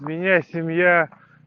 у меня семья